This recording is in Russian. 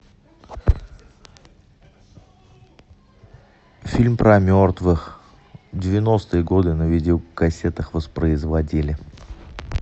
фильм про мертвых девяностые годы на видеокассетах воспроизводили